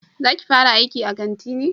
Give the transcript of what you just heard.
Za ki fara aiki a kanti ne?